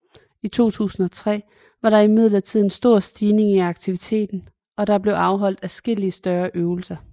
I 2003 var der imidlertid en stor stigning i aktiviteten og der blev afholdt adskillige større øvelser